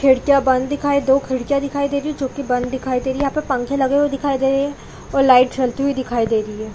खिड़कियाँ बंद दिखाई दो खिड़कियाँ दिखाई दे रही है जोकि बंद दिखाई दे रही है यहाँ पर पंखे लगे हुए दिखाई दे रहे है और लाइट जलती हुई दिखाई दे रही हैं ।